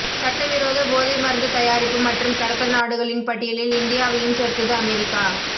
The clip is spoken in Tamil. சட்டவிரோத போதை மருந்து தயாரிப்பு மற்றும் கடத்தல் நாடுகளின் பட்டியலில் இந்தியாவையும் சேர்த்தது அமெரிக்கா